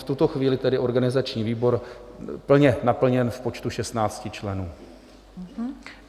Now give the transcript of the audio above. V tuto chvíli tedy organizační výbor plně naplněn v počtu 16 členů.